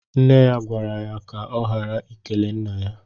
Nne ya gwara ya kà ọ ghara ikele Nna ya.